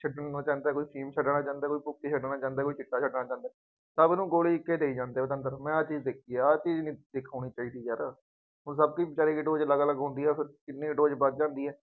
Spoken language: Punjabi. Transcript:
ਛੱਡੂਗਾ ਛੱਡਣਾ ਚਾਹੁੰਦਾ ਕੋਈ ਂਭੁੱਕੀ ਛੱਡਣਾ ਚਾਹੁੰਦਾ, ਕੋਈ ਚਿੱਟਾ ਛੱਡਣਾ ਚਾਹੁੰਦਾ, ਸਭ ਨੂੰ ਗੋਲੀ ਇੱਕ ਹੀ ਦੇਈ ਜਾਂਦੇ ਉਸ਼ ਅੰਦਰ ਮੈਂ ਆਹ ਚੀਜ਼ ਦੇਖੀ ਹੈ, ਆਹ ਚੀਜ਼ ਨਹੀਂ ਦੇਖ ਹੋਣੀ ਚਾਹੀਦੀ ਯਾਰ, ਉਦਾਂ ਆਪੇ ਹੀ ਸਾਰਿਆਂ ਦੀ dose ਅਲੱਗ ਅਲੱਗ ਹੁੰਦੀ ਹੈ ਫੇਰ, ਕਿੰਨੀ dose ਵੱਧ ਜਾਂਦੀ ਹੈ।